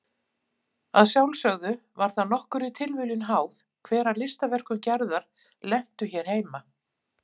Að sjálfsögðu var það nokkurri tilviljun háð hver af listaverkum Gerðar lentu hér heima.